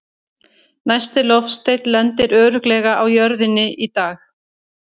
Næsti loftsteinn lendir örugglega á jörðinni í dag!